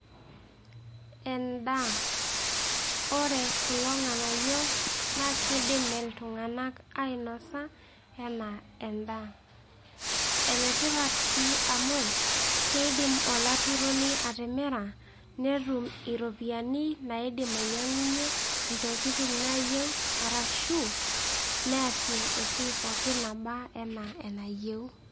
Endaa. Ore kulo ng'anayio na kidim iltung'anak ainosa enaa endaa. Enetipat si amu, keidim olaturoni atimira, netum iropiyiani naidim ainyang'unye intokiting' nayieu arashu, neasie esiai pookin naba enaa enayieu.